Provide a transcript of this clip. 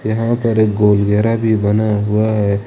यहां पर एक गोल घेरा भी बना हुआ है।